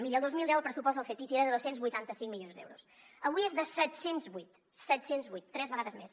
miri el dos mil deu el pressupost del ctti era de dos cents i vuitanta cinc milions d’euros avui és de set cents i vuit set cents i vuit tres vegades més